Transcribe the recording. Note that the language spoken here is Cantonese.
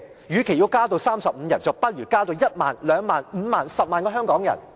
與其要增至35人，不如增至1萬、2萬、5萬、10萬名香港人。